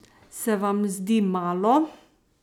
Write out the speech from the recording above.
Se vam zdi malo?